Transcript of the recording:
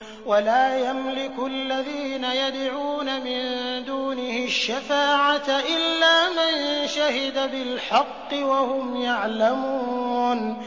وَلَا يَمْلِكُ الَّذِينَ يَدْعُونَ مِن دُونِهِ الشَّفَاعَةَ إِلَّا مَن شَهِدَ بِالْحَقِّ وَهُمْ يَعْلَمُونَ